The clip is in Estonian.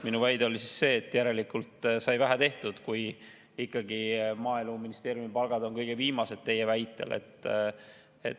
Minu väide oli see, et järelikult sai vähe tehtud, kui ikkagi maaeluministeeriumi palgad on kõige viimased, nagu te väidate.